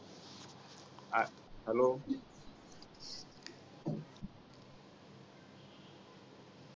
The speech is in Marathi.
a hello